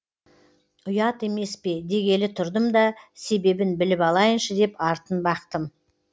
ұят емес пе дегелі тұрдым да себебін біліп алайыншы деп артын бақтым